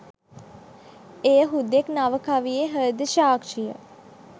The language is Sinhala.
එය හුදෙක් නව කවියේ හෘද සාක්ෂිය